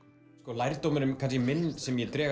lærdómurinn sem ég dreg